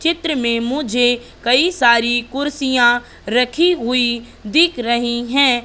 चित्र में मुझे कई सारी कुर्सियां रखी हुई दिख रही है।